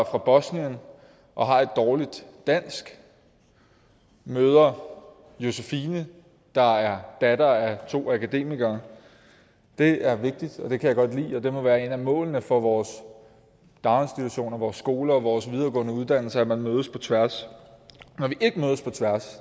fra bosnien og har et dårligt dansk møder josephine der er datter af to akademikere det er vigtigt og det kan jeg godt lide og det må være et af målene for vores daginstitutioner vores skoler og vores videregående uddannelser at man mødes på tværs